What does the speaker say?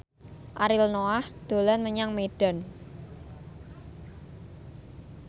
Ariel Noah dolan menyang Medan